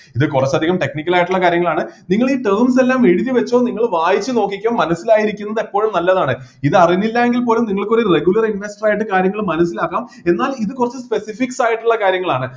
ഇത് കുറച്ച് അധികം technical ആയിട്ടുള്ള കാര്യങ്ങളാണ് നിങ്ങൾ ഈ terms എല്ലാം എഴുതിവെച്ചോ നിങ്ങള് വായിച്ചുനോക്കിക്കോ മനസ്സിലായിരിക്കുന്നത് എപ്പോഴും നല്ലതാണ് ഇത് അറിഞ്ഞില്ലയെങ്കിൽ പോലും നിങ്ങൾക്ക് ഒരു regular invorter ആയിട്ട് കാര്യങ്ങൾ മനസ്സിലാക്കാം എന്നാൽ ഇത് കുറച്ച് specifics ആയിട്ടുള്ള കാര്യങ്ങളാണ്